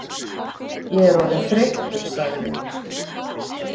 Ég er orðinn þreyttur sagði